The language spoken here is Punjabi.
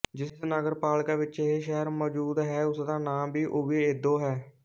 ਜਿਸ ਨਗਰਪਾਲਿਕਾ ਵਿੱਚ ਇਹ ਸ਼ਹਿਰ ਮੌਜੂਦ ਹੈ ਉਸਦਾ ਨਾਂ ਵੀ ਓਵੀਏਦੋ ਹੈ